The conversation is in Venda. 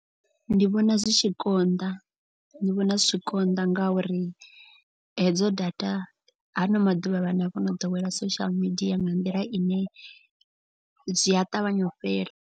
Ndi vhona zwi tshi konḓa ndi vhona zwi tshi konḓa. Ngauri hedzo data haano maḓuvha vhana vho no ḓowela social media nga nḓila ine zwi a ṱavhanya u fhela.